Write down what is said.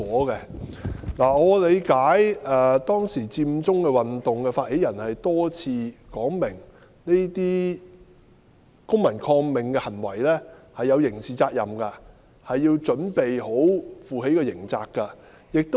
據我理解，當年佔中運動發起人曾多番說明參與這些公民抗命的行為是有刑事責任的，要準備負上刑事後果。